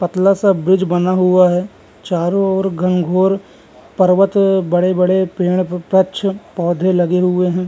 पतला सा ब्रिज बना हुआ है चारो ओर घनघोर पर्वत बड़े-बड़े पेड़ पछ पौधे लगे हुए हैं।